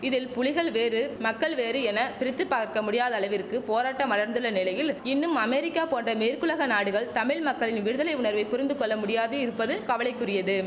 இதில் புலிகள் வேறு மக்கள் வேறு என பிரித்து பார்க்க முடியாத அளவிற்கு போராட்டம் வளர்ந்துள்ள நிலையில் இன்னும் அமெரிக்கா போன்ற மேற்குலக நாடுகள் தமிழ் மக்களின் விடுதலை உணர்வை புரிந்து கொள்ள முடியாது இருப்பது கவலைக்குரியது